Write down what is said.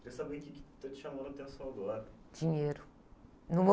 Queria saber o quê que está te chamando a atenção agora.inheiro, não vou